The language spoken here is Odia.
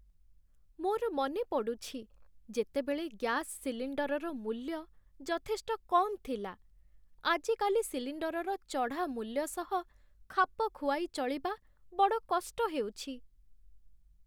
ମୋର ମନେ ପଡ଼ୁଛି ଯେତେବେଳେ ଗ୍ୟାସ ସିଲିଣ୍ଡରର ମୂଲ୍ୟ ଯଥେଷ୍ଟ କମ୍ ଥିଲା। ଆଜିକାଲି ସିଲିଣ୍ଡରର ଚଢ଼ା ମୂଲ୍ୟ ସହ ଖାପ ଖୁଆଇ ଚଳିବା ବଡ଼ କଷ୍ଟ ହେଉଛି।